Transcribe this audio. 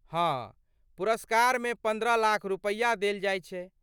हाँ, पुरस्कारमेपन्द्रह लाख रुपैया देल जाइत छै।